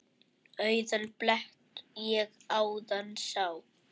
Auðan blett ég áðan sá.